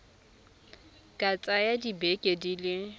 ka tsaya dibeke di le